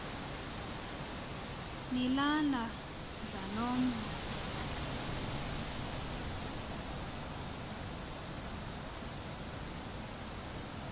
nilala mdlalomn l